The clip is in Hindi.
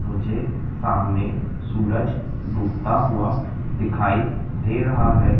मुझे सामने सूरज डूबता हुआ दिखाई दे रहा हैं।